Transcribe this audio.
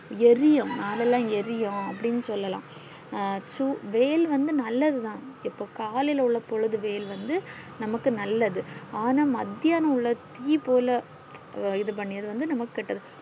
எறியும் மேலல்லாம் எறியும் அப்டின்னு சொல்லலா அஹ் சூட வெயில் வந்து நல்லது தான் எப்போ காலைல உள்ள பொழுது வெயில் வந்து நமக்கு நல்லது ஆனா மதியான தீ போல இது பண்ணி நமக்கு கேட்டது